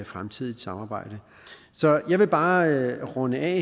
fremtidigt samarbejde så jeg vil her bare runde af